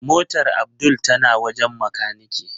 Motar Abdul tana wajen makanike.